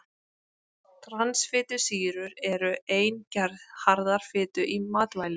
Transfitusýrur eru ein gerð harðrar fitu í matvælum.